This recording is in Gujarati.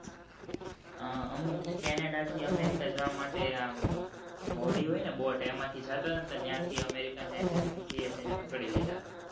હ અમુક canada થી america જવા માટે અ હોડી હોય ને boat એમાં થી ત્યાં થી American agency એ તેને પકડી લીધા